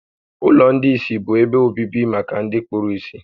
Ụlọ ndị ìsì bụ ebe obibi maka ndị kpuru ìsì